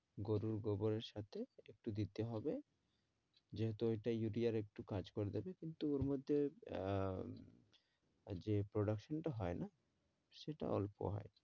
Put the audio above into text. গরুর গোবর এর সাথে একটু দিতে হবে যেহেতু ওইটা ইউরিয়ার একটু কাজ করে দেবে কিন্তু ওর মধ্যে আহ যে production টা হয় না সেটা অল্প হয়